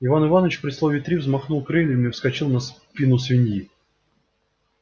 иван иваныч при слове три взмахнул крыльями и вскочил на спину свиньи